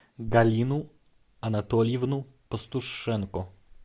галину анатольевну пастушенко